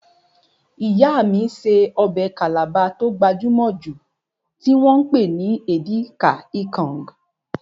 Ìyá mí ṣe ọbẹ̀ Calabar tó gbajúmọ̀ jù tí wọ́n pè ní Edika-ikong